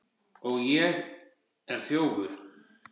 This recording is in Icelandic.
Og ég er þjófur.